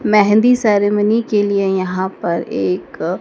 mehndi ceremony के लिए यहां पर एक--